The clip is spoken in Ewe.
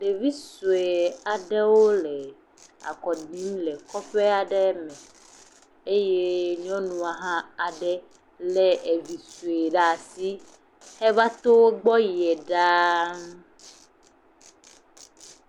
Ɖevi sɔe aɖewo le akɔ ɖim le kɔƒe aɖe me eye nyɔnua hã aɖe hã lé evi sɔe ɖe asi heva to wo gbɔ yie ɖaa.